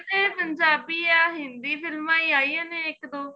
ਇਹ ਪੰਜਾਬੀ ਏ ਹਿੰਦੀ ਫ਼ਿਲਮਾ ਈ ਆਇਆ ਨੇ ਇੱਕ ਦੋ